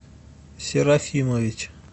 серафимович